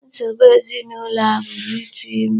Nsogbu ezinụlọ a bụrụ ịtụ ime.